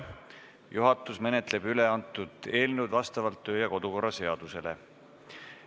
Juhatus menetleb üleantud eelnõu vastavalt kodu- ja töökorra seadusele.